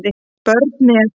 Börn með